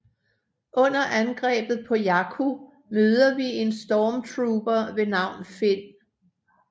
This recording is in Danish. Under angrebet på Jakku møder vi en stormtrooper ved navn Finn